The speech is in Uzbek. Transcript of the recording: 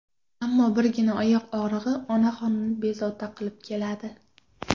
Ammo birgina oyoq og‘rig‘i onaxonni bezovta qilib keladi.